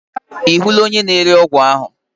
Ị hụla onye na-ere ọgwụ ahu?